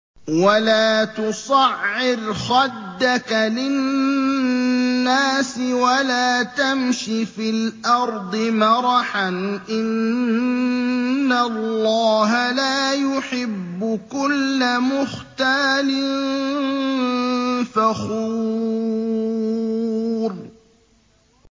وَلَا تُصَعِّرْ خَدَّكَ لِلنَّاسِ وَلَا تَمْشِ فِي الْأَرْضِ مَرَحًا ۖ إِنَّ اللَّهَ لَا يُحِبُّ كُلَّ مُخْتَالٍ فَخُورٍ